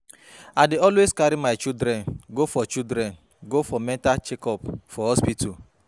I dey always carry my children go for children go for mental check up for hospital